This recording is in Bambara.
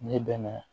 Ne bɛ na